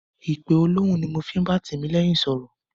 Ìpe olóhùn ni mo fi ń bá Tìmílẹ́yìn sọ̀rọ̀.